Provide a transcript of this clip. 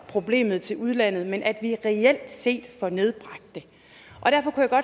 problemet til udlandet men at vi reelt set får nedbragt det og derfor